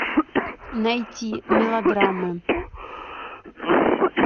найти мелодрамы